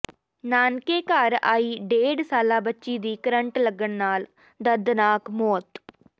ਨਾਨਕੇ ਘਰ ਆਈ ਡੇਢ ਸਾਲਾ ਬੱਚੀ ਦੀ ਕਰੰਟ ਲੱਗਣ ਨਾਲ ਦਰਦਨਾਕ ਮੌਤ